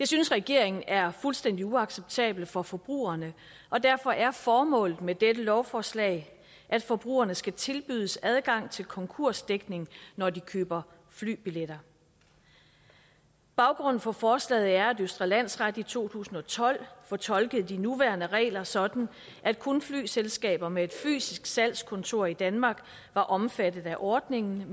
synes regeringen er fuldstændig uacceptabelt for forbrugerne og derfor er formålet med dette lovforslag at forbrugerne skal tilbydes adgang til konkursdækning når de køber flybilletter baggrunden for forslaget er at østre landsret i to tusind og tolv fortolkede de nuværende regler sådan at kun flyselskaber med et fysisk salgskontor danmark var omfattet af ordningen